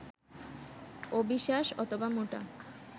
অবিসাস অথবা মোটা